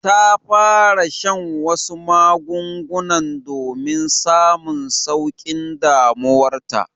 Ta fara shan wasu magungunan domin samun saukin damuwar ta.